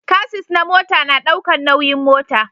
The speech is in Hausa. Casis na mota na daukan nauyin mota